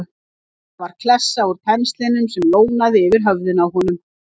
Þetta var klessa úr penslinum sem lónaði yfir höfðinu á honum!